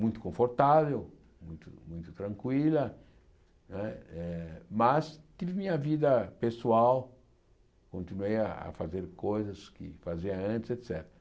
muito confortável, muito muito tranquila, né eh mas tive minha vida pessoal, continuei a a fazer coisas que fazia antes, et